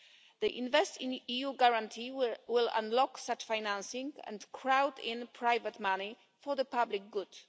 The InvestEU guarantee will unlock such financing and crowd in private money for the public good.